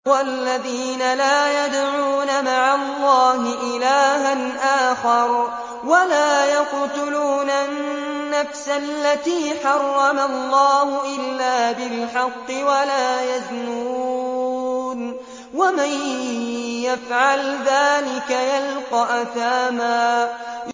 وَالَّذِينَ لَا يَدْعُونَ مَعَ اللَّهِ إِلَٰهًا آخَرَ وَلَا يَقْتُلُونَ النَّفْسَ الَّتِي حَرَّمَ اللَّهُ إِلَّا بِالْحَقِّ وَلَا يَزْنُونَ ۚ وَمَن يَفْعَلْ ذَٰلِكَ يَلْقَ أَثَامًا